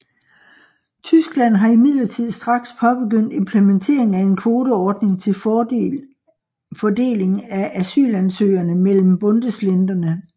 Tyskland har imidlertid straks påbegyndt implementering af en kvoteordning til fordeling af asylansøgerne mellem bundesländerne